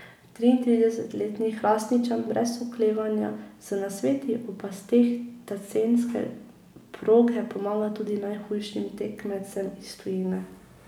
Triintridesetletni Hrastničan brez oklevanja z nasveti o pasteh tacenske proge pomaga tudi najhujšim tekmecem iz tujine.